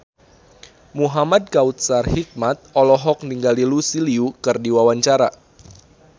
Muhamad Kautsar Hikmat olohok ningali Lucy Liu keur diwawancara